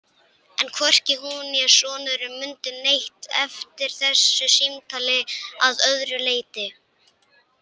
En hvorki hún né sonurinn mundu neitt eftir þessu símtali að öðru leyti.